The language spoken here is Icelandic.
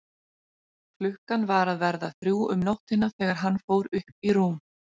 Klukkan var að verða þrjú um nóttina þegar hann fór upp í rúm.